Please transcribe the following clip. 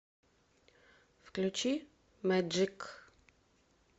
включи мэджик